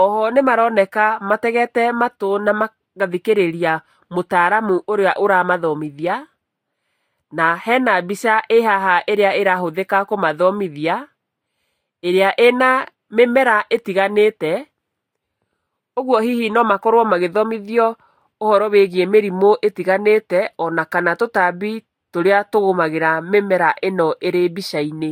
Oho nĩ maroneka mategete matũ na magathikĩrĩria mũtaaramu ũrĩa ũramathomithia, na hena mbica ĩhaha ĩrĩa ĩrahũthika kũmathomithia ĩrĩa ĩna mĩmera ĩtiganĩte, ũguo hihi no makorũo magĩthomithio ũhoro wĩgiĩ mĩrimũ ĩtiganĩte ona kana tũtambi tũrĩa tũgũmagĩra mĩmera ino ĩrĩ mbica-inĩ.